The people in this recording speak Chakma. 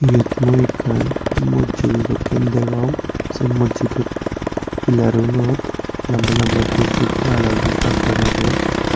iyot mui ekkan mojjido dokken degong se mojjidot pilarunot lamba lamba dup dup hala hala guri dak dak age ar.